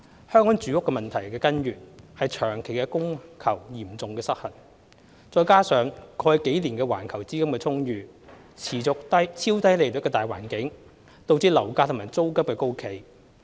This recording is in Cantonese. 香港住屋問題的根源是長期供求嚴重失衡，再加上過去幾年環球資金充裕、持續超低利率的大環境，導致樓價和租金高企。